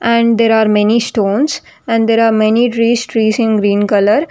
And there are many stones and there are many trees trees in green colour.